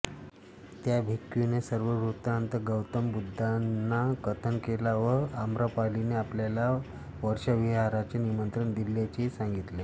त्या भिक्खूने सर्व वृत्तान्त गौतम बुद्धांना कथन केला व आम्रपालीने आपल्याला वर्षाविहाराचे निमंत्रण दिल्याचेही सांगितले